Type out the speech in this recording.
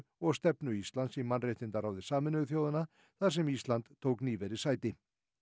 og stefnu Íslands í mannréttindaráði Sameinuðu þjóðanna þar sem Ísland tók nýverið sæti